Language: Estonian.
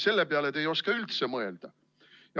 Selle peale te ei oska üldse mõelda.